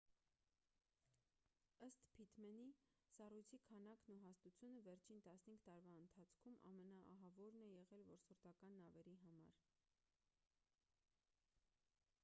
ըստ փիթմենի սառույցի քանակն ու հաստությունը վերջին 15 տարվա ընթացքում ամենաահավորն է եղել որսորդական նավերի համար